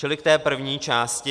Čili k té první části.